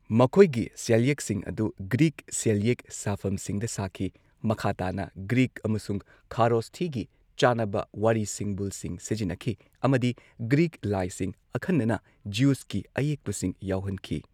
ꯃꯈꯣꯏꯒꯤ ꯁꯦꯜꯌꯦꯛꯁꯤꯡ ꯑꯗꯨ ꯒ꯭ꯔꯤꯛ ꯁꯦꯜꯌꯦꯛ ꯁꯥꯐꯝꯁꯤꯡꯗ ꯁꯥꯈꯤ꯫ ꯃꯈꯥ ꯇꯥꯅ ꯒ꯭ꯔꯤꯛ ꯑꯃꯁꯨꯡ ꯈꯥꯔꯣꯁꯊꯤꯒꯤ ꯆꯥꯅꯕ ꯋꯥꯔꯤ ꯁꯤꯡꯕꯨꯜꯁꯤꯡ ꯁꯤꯖꯤꯟꯅꯈꯤ ꯑꯃꯗꯤ ꯒ꯭ꯔꯤꯛꯀꯤ ꯂꯥꯏꯁꯤꯡ, ꯑꯈꯟꯅꯅ ꯖꯤꯎꯁꯀꯤ ꯑꯌꯦꯛꯄꯁꯤꯡ ꯌꯥꯎꯍꯟꯈꯤ꯫